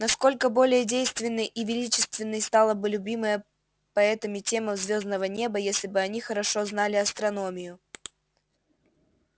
насколько более действенной и величественной стала бы любимая поэтами тема звёздного неба если бы они хорошо знали астрономию